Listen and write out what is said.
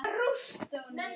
Afi kenndi mér reglu.